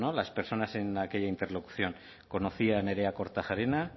las personas en aquella interlocución conocía a nerea kortajarena